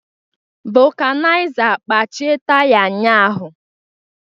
Vulcanizer kpachie taya ụnyahụ